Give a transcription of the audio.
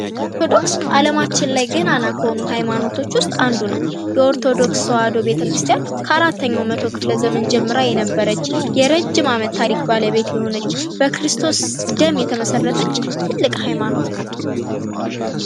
ኦርቶዶክስ አለማችን ላይ ገናና ከሆኑ ሃይማኖቶች ውስጥ አንዱ ነው ። የኦርቶዶክስ ተዋህዶ ቤተክርስቲያን ከአራተኛው መቶ ክፍለ ዘመን ጀምራ የነበረች የረጅም አመት ታሪክ ባለቤት የሆነች በክርስቶስ ደም የተመሰረተች ትልቅ ሀይማኖት ናት ።